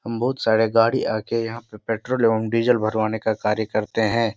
हम बहोत सारे गाड़ी आके यहाँ पे पेट्रोल और डीजल भरवाने का कार्य करते हैं।